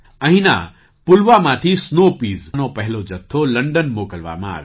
અહીંના પુલવામાથી સ્નૉ પીઝનો પહેલો જથ્થો લંડન મોકલવામાં આવ્યો